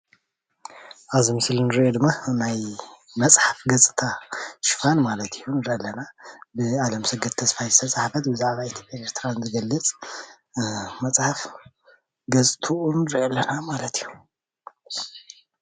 ኣብዚ ምስሊ እንሪኦ ድማ ናይ መፅሓፍ ገፅታ ሽፋን ማለት እዪ ንርኢ ኣለና ብኣለምሰገድ ተስፋይ ዝተፅሓፈት ብዛዕባ ኢትዮጽያን ኤርትራን እትገልፅ እያ።